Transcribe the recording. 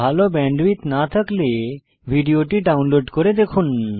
ভাল ব্যান্ডউইডথ না থাকলে ভিডিওটি ডাউনলোড করে দেখুন